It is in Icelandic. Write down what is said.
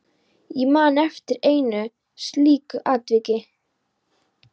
Ég man eftir einu slíku atviki.